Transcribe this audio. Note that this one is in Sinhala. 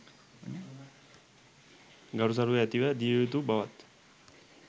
ගරු සරු ඇතිව දිය යුතු බවත්